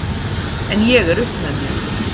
En ég er upp með mér.